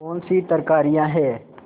कौनसी तरकारियॉँ हैं